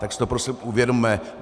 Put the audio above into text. Tak si to prosím uvědomme!